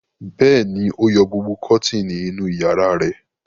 Bẹ́ẹ̀ ni, ó yọ gbogbo kọ́tíínì inú ìyàrá rẹ̀.